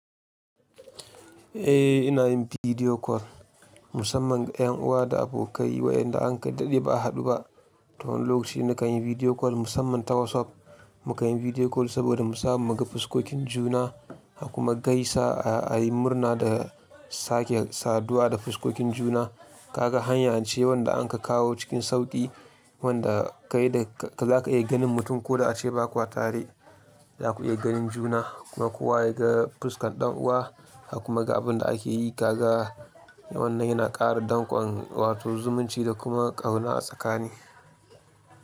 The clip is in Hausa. Eh ina yin bidiyo kol musamman ga yan uwa da abokai waƴanda an kadade ba a haɗu ba. Ton lokacin da ka yi bidiyo kol musamman ta WhatsApp. Mu kan yi bidiyo kol saboda mu samu mu ga fuskokin juna, a kuma gaisa a yi murna da sake saduwa da fuskokin juna. Kaga hanyar cewan da an ka kawo cikin sauƙi wanda ka yi da ka za ka iya ganin mutum ko da a ce bakwa tare. Za ku iya ganin juna kuma kuwa ya ga fuskan ɗan uwa a kuma ga abin da ake yi kaga. Wannan yana ƙara dangon watau, zumunci da kuma ƙauna a tsakani.